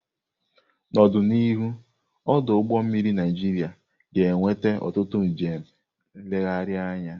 N'ọdịnihu, ọdụ ụgbọ mmiri Naịjiria ga-eweta ọtụtụ njem nlegharị anya.